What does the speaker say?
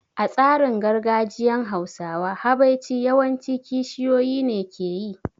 A tsarin gargajiyan Hausawa, habaici yawan ci kishiyoyi ne ke yi